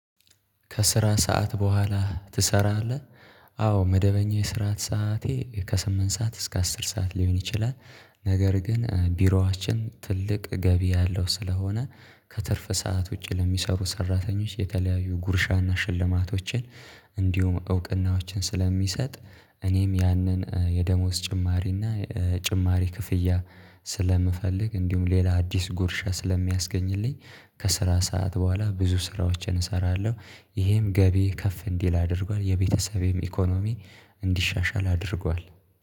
ከስራ ሰዓት በኋላ ትሰራለህ? አዎ መደበኛ የስራት ሰዓቴ ከስምንት ሰዓት እስከ አስር ሰዓት ሊሆን ይችላል። ነገር ግን ቢሮአችን ትልቅ ገቢ ያለው ስለሆነ ከትርፍ ሰዓት ውጪ ለሚሰሩ ሰራተኞች የተለያዩ ጉርሻና ሽልማቶችን። እንዲሁም እውቅናዎችን ስለሚሰጥ። እኔም ያንን የደሞዝ ጭማሪ እና ጭማሪ ክፍያ ስለምፈልግ እንዲሁም ሌላ አዲስ ጉርሻ ስለሚያስገኝልኝ። ከስራ ሰዓት በኋላ ብዙ ስራዎችን እሰራለሁ። ይሄም ገቢ ከፍ እንዲል አድርጓል የቤተሰቤም ኢኮኖሚ እንዲሻሻል አድርጓል